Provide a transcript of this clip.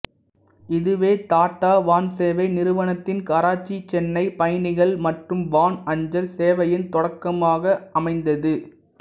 இதுவே டாட்டா வான்சேவை நிறுவனத்தின் கராச்சிசென்னை பயணிகள் மற்றும் வான் அஞ்சல் சேவையின் தொடக்கமாக அமைந்தது